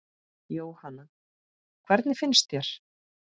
Jóhanna: Hvernig finnst þér?